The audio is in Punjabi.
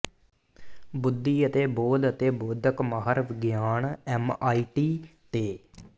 ਬੁੱਧੀ ਅਤੇ ਬੋਧ ਅਤੇ ਬੋਧਕ ਮਾਹਰ ਵਿਗਿਆਨ ਐਮਆਈਟੀ ਤੇ